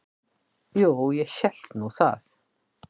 Jú, ég hélt nú það.